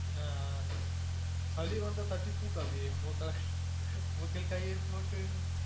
ஆஹ் ஆஹ் தட்டி தூக்கு அபி உங்க collection உங்க கையெழுத்து மட்டும்